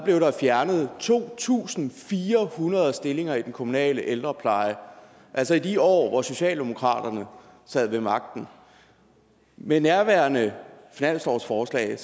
blev der fjernet to tusind fire hundrede stillinger i den kommunale ældrepleje altså i de år hvor socialdemokratiet sad ved magten med nærværende finanslovsforslag